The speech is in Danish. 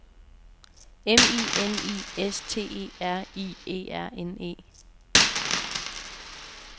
M I N I S T E R I E R N E